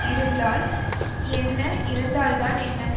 இருந்தால் என்ன இறந்தால்தான் என்ன